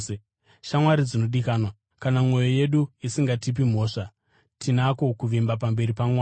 Shamwari dzinodikanwa, kana mwoyo yedu isingatipi mhosva, tinako kuvimba pamberi paMwari